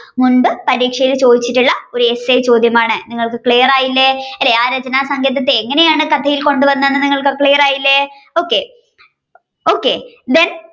മുൻപ് പരീക്ഷയിൽ ചോദിച്ചിട്ടുള്ള ഒരു Essay ചോദ്യമാണ് നിങ്ങൾക്ക് clear ആയില്ലേ ആ രചനാസങ്കേതത്തെ എങ്ങനെയാണ് കഥയിൽ കൊണ്ടുവന്നതെന്ന് നിങ്ങൾക്ക് clear ആയില്ലേ okokthen.